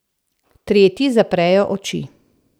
Tretji zaprejo oči.